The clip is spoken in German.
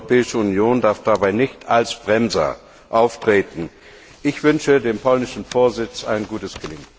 Die Europäische Union darf dabei nicht als Bremser auftreten. Ich wünsche dem polnischen Ratsvorsitz ein gutes Gelingen!